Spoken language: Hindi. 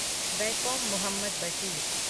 वैकोम मुहम्मद बशीर